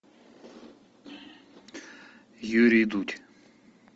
юрий дудь